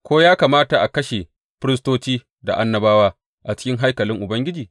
Ko ya kamata a kashe firistoci da annabawa a cikin haikalin Ubangiji?